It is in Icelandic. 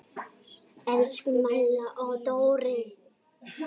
Elsku Malla og Dóri.